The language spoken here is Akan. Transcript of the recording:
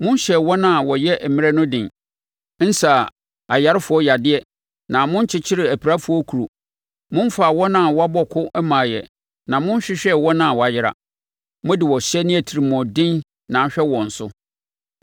Monhyɛɛ wɔn a wɔyɛ mmerɛ no den, nsaa ayarefoɔ yadeɛ na monkyekyeree apirafoɔ akuro. Momfaa wɔn a wɔabɔ ko mmaeɛ na monhwehwɛɛ wɔn a wɔayera. Mode ɔhyɛ ne atirimuɔden na ahwɛ wɔn so.